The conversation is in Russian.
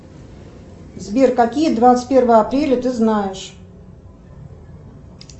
сбер какие двадцать первое апреля ты знаешь